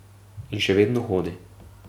In še vedno hodi.